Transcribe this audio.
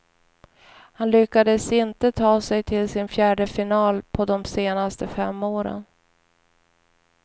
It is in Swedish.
Han lyckades inte ta sig till sin fjärde final på de senaste fem åren.